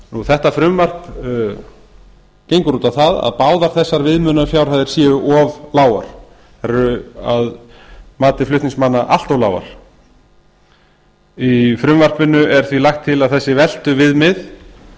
þetta frumvarp gengur út á að báðar þessar viðmiðunarfjárhæðir séu of lágar þær eru að mati flutningsmanna allt of lágar í frumvarpinu er því lagt til að þessi veltuviðmið